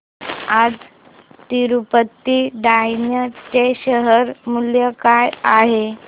आज तिरूपती टायर्स चे शेअर मूल्य काय आहे